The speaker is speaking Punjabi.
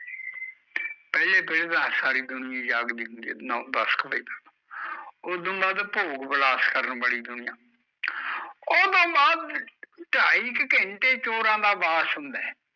ਪਹਿਲੇ ਪਹਿਰੇ ਤਾਂ ਸਾਰੀ ਦੁਨੀਆ ਈ ਜਾਗਦੀ ਹੁੰਦੀ ਐ ਨੋ ਦਸ ਕੁ ਵਜੇ ਉਦੋਂ ਬਾਦ ਭੋਗ ਬਿਲਾਸ ਕਰਨ ਵਾਲੀ ਦੁਨੀਆ ਉਹਦੋ ਬਾਦ ਢਾਈ ਕੁ ਘੰਟੇ ਚੋਰਾਂ ਦਾ ਵਾਸ ਹੁੰਦਾ ਐ